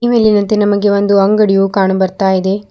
ಈ ಮೇಲಿನಂತೆ ನಮಗೆ ಒಂದು ಅಂಗಡಿಯು ಕಾಣು ಬರ್ತಾ ಇದೆ.